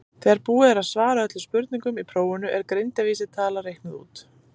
þegar búið er að svara öllum spurningum í prófinu er greindarvísitala reiknuð út